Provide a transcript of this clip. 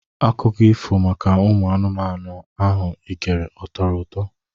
Akụko ifo maka ụmụ anụmanụ ahụ igere atọrọ ụtọ?